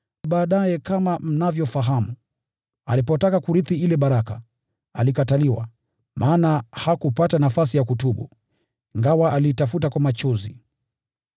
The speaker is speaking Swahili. Baadaye kama mnavyofahamu, alipotaka kurithi ile baraka, alikataliwa, maana hakupata nafasi ya kutubu, ingawa aliitafuta kwa machozi.